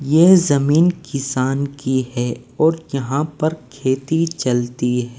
यह जमीन किसान की है और यहां पर खेती चलती --